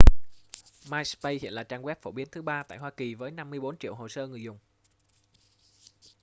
myspace hiện là trang web phổ biến thứ ba tại hoa kỳ với 54 triệu hồ sơ người dùng